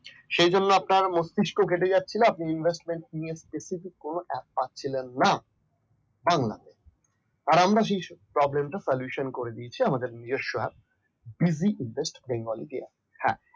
সেই জন্য আপনার মস্তিষ্ক ঘেটে যাচ্ছিল আপনি investment নিয়ে specific কোন app পাচ্ছিলেন না পান না আর আমরা সেই problem solutiton করে দিয়েছে আমাদের নিজস্ব app buzy invest bengali বেঙ্গলিরই app